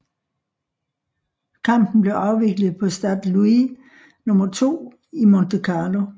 Kampen blev afviklet på Stade Louis II i Monte Carlo